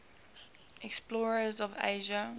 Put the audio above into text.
explorers of asia